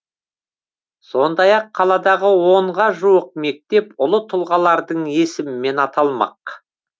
сондай ақ қаладағы онға жуық мектеп ұлы тұлғалардың есімімен аталмақ